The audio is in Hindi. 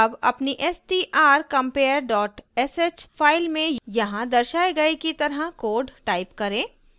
अब अपनी strcompare dot sh file में यहाँ दर्शाये गए की तरह code type करें